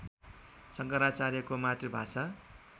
शङ्कराचार्यको मातृभाषा